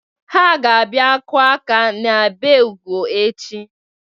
Ha ga-abia kụọ aka n'ebe Ugo echi.